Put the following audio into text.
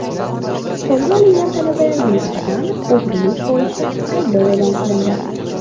Qo‘lga olingan talabalarga nisbatan o‘g‘rilik bo‘yicha ayblov e’lon qilindi.